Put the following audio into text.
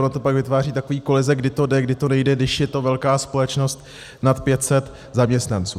Ono to pak vytváří takové koheze, kdy to jde, kdy to nejde, když je to velká společnost nad 500 zaměstnanců.